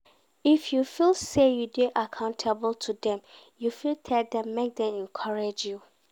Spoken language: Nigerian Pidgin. If you feel say you dey accountable to dem you fit tell dem make dem encourage you